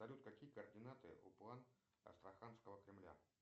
салют какие координаты у план астраханского кремля